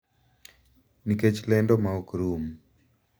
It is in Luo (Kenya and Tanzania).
Nikech lendo ma ok rum